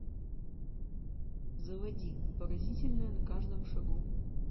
заводи поразительное на каждом шагу